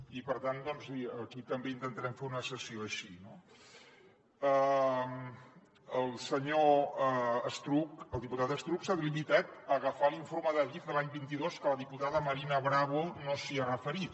i per tant aquí també intentarem fer una sessió així no el senyor estruch el diputat estruch s’ha limitat a agafar l’informe d’adif de l’any vint dos que la diputada marina bravo no s’hi ha referit